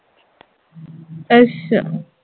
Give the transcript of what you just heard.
ਅੱਸ਼ਾ